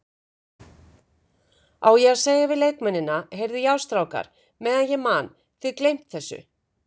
Á ég að segja við leikmennina, Heyrðu já strákar meðan ég man, þið gleymt þessu?